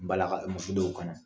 Balaka, muso dɔw kɔnɔ